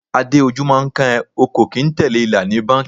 Adé, ojú máa ń kán ẹ, o kò kín tẹ̀lé ìlà ni báńkì.